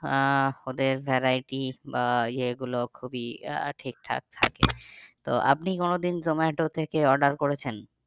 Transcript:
আহ ওদের variety বা এগুলো খুবই আহ ঠিকঠাক থাকে তো আপনি কোনোদিন জোমাটো থেকে order করেছেন?